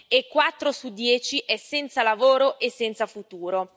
e quattro su dieci sono senza lavoro e senza futuro.